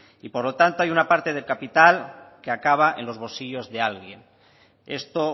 y por lo tanto hay una parte de capital que acaba en los bolsillos de alguien esto